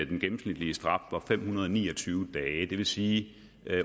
den gennemsnitlige straf fem hundrede og ni og tyve dage det vil sige